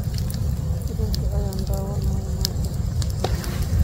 Filimkee ayaan daawanayaa maanta?